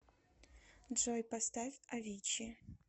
джой поставь авичи